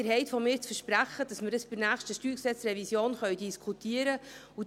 Sie haben von mir das Versprechen, dass wir dies anlässlich der nächsten StG-Revision diskutieren können.